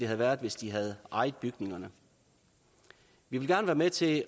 have været hvis de havde ejet bygningerne vi vil gerne være med til